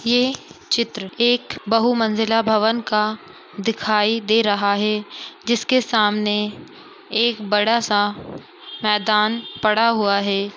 यह चित्र एक बहु मंजिला भवन का दिखाई दे रहा है जिसके सामने एक बड़ा-सा मैदान पड़ा हुआ है।